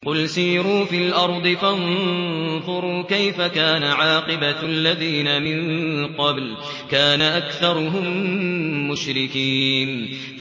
قُلْ سِيرُوا فِي الْأَرْضِ فَانظُرُوا كَيْفَ كَانَ عَاقِبَةُ الَّذِينَ مِن قَبْلُ ۚ كَانَ أَكْثَرُهُم مُّشْرِكِينَ